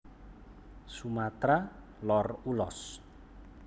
Sumatra Lor Ulos